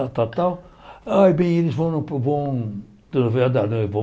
Tal tal tal ai, bem, eles vão para o vão no vel da noiva